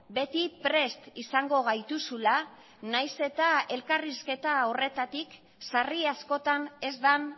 beti prest izango gaituzula nahiz eta elkarrizketa horretatik sarri askotan ez den